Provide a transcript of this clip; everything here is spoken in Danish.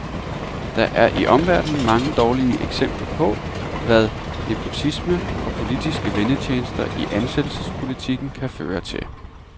Der er i omverdenen mange dårlige eksempler på, hvad nepotisme og politiske vennetjenester i ansættelsespolitikken kan føre til.